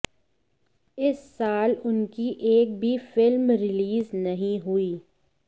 इस साल उनकी एक भी फिल्म रिलीज नहीं हुई